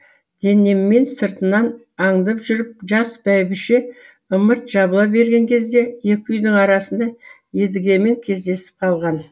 денеммен сыртынан аңдып жүріп жас бәйбіше ымырт жабыла берген кезде екі үйдің арасында едігемен кездесіп қалған